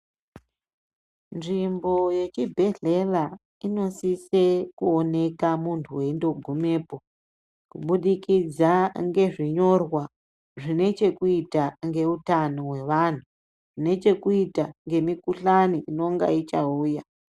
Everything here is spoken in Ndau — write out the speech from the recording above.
Nzvimbo yechibhedhlera inosisa inooneka muntu eingogumapo kubudikidza ngezvinyorwa zvine chekuita nehutano hwevantu nechekuita nemukuhlani unonga uchauya.